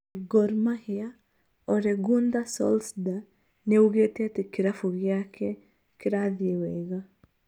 Gor Mahia: Ole Gunther Solsder nĩ oigĩte atĩ kĩrabu gĩake 'kĩrathiĩ wega'